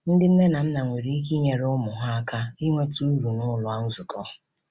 Ndị nne na nna nwere ike inyere ụmụ ha aka inweta uru n’ụlọ nzukọ.